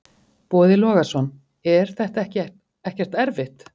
Boði Logason: Er þetta ekkert erfitt?